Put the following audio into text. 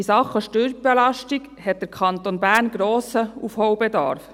In Sachen Steuerbelastung hat der Kanton Bern einen grossen Aufholbedarf.